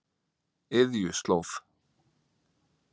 Iðjuslóð